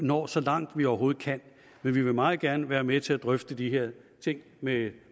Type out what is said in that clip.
når så langt vi overhovedet kan men vi vil meget gerne være med til at drøfte de her ting med